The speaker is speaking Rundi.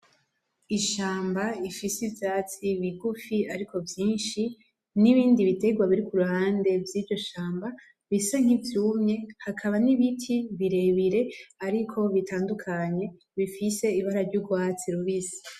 Ishamba rifise ivyatsi bigufi arko vyishi n’ibindi biterwa biri ku ruhande vyiryo shamba bisa nk’ivyumye hakaba n’ibiti birebire ariko bitandukanye bifise ibara ry’urwatsi rubisi.